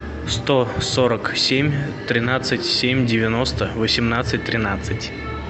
сто сорок семь тринадцать семь девяносто восемнадцать тринадцать